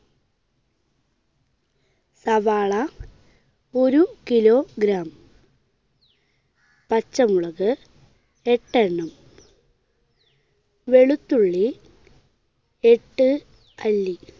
സവാള ഒരു kilogram. പച്ചമുളക് എട്ട് എണ്ണം. വെളുത്തുള്ളി എട്ട് അല്ലി.